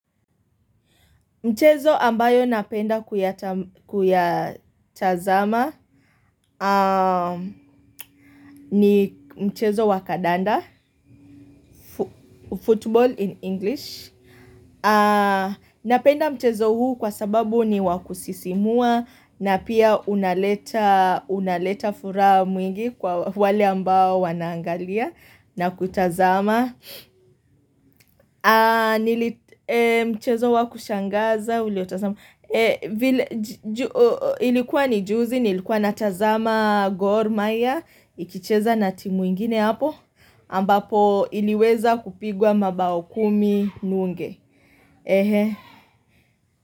Mchezo ambayo napenda kuyatazama ni mchezo wakadanda, football in English. Napenda mchezo huu kwa sababu ni wakusisimua na pia unaleta furaha mwingi kwa wale ambao wanaangalia na kutazama. Nilichezo wakushangaza ilikuwa nijuzi nilikuwa natazama gormaya ikicheza na timu ingine hapo ambapo iliweza kupigwa mabao kumi nunge.